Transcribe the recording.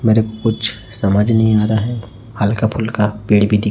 मेरे को कुछ समझ नहीं आ रहा है हल्का फुल्का पेड़ भी दि--